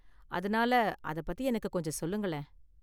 அதனால அதப் பத்தி எனக்கு கொஞ்சம் சொல்லுங்களேன்.